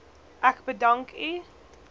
ek bedank u